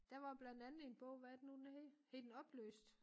Der var blandt andet en bog hvad er det nu den hed hed den opløst